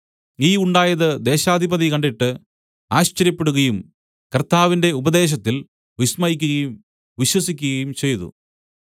ഈ ഉണ്ടായത് ദേശാധിപതി കണ്ടിട്ട് ആശ്ചര്യപ്പെടുകയും കർത്താവിന്റെ ഉപദേശത്തിൽ വിസ്മയിക്കുകയും വിശ്വസിക്കുകയും ചെയ്തു